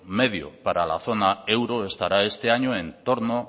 medio para la zona euro estará este año en torno